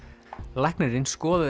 læknirinn skoðaði